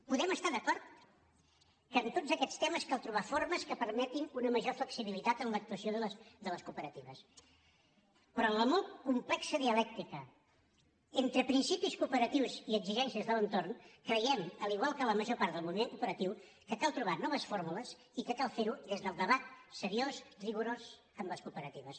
podem estar d’acord que en tots aquests temes cal trobar formes que permetin una major flexibilitat en l’actuació de les cooperatives però en la molt complexa dialèctica entre principis cooperatius i exigències de l’entorn creiem igual que la major part del moviment cooperatiu que cal trobar noves fórmules i que cal fer ho des del debat seriós rigorós amb les cooperatives